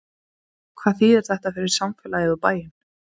Gísli Óskarsson: Hvað þýðir þetta fyrir samfélagið, og bæinn?